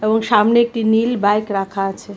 এবং সামনে একটি নীল বাইক রাখা আছে.